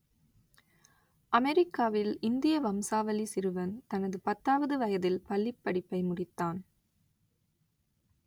அமெரிக்காவில் இந்திய வம்சாவளி சிறுவன் தனது பத்தாவது வயதில் பள்ளிப் படிப்பை முடித்தான்